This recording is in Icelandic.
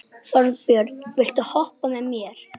Þið sjáið að hann hefur rist nafnið sitt á krossana.